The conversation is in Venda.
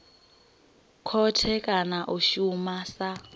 khothe kana a shuma sa